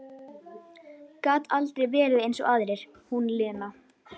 Gat aldrei verið eins og aðrir, hún Lena.